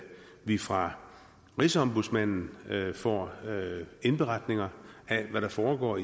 vi fra rigsombudsmanden får indberetninger af hvad der foregår